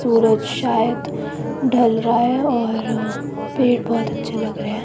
सूरज शायद ढल रहा है और पेड़ बहोत अच्छे लग रहे हैं।